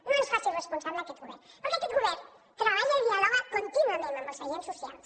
no ens en faci responsables a aquest govern perquè aquest govern treballa i dialoga contínuament amb els agents socials